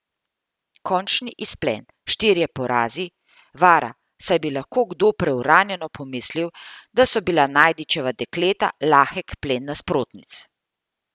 Končni izplen, štirje porazi, vara, saj bi lahko kdo preuranjeno pomislil, da so bila Najdičeva dekleta lahek plen nasprotnic.